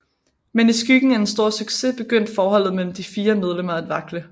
Men i skyggen af den store succes begyndte forholdet mellem de fire medlemmer at vakle